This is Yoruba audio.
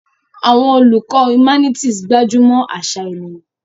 Àwọn olùkọ́ humanities gbájú mọ́ àṣà ènìyàn.